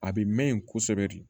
A bɛ mɛn yen kosɛbɛ de